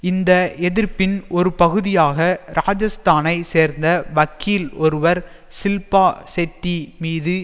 இந்த எதிர்ப்பின் ஒருபகுதியாக ராஜஸ்தானை சேர்ந்த வக்கீல் ஒருவர் ஷில்பா ஷெட்டி மீது